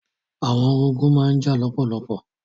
Àwọn orogún má n jà lọ́pọ̀lọpọ̀.